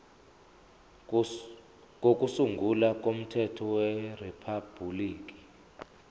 kokusungula komthethosisekelo weriphabhuliki